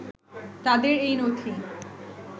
তাদের এই নথি